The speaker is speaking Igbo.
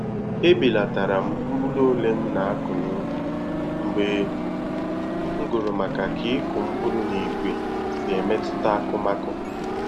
Ebelatara m mkpụrụ ole m na-akụ na ubi mgbe m gụrụ maka ka ịkụ mkpụrụ na igwe si emetuta akụmakụ